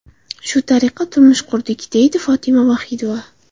Shu tariqa turmush qurdik”, deydi Fotima Vohidova.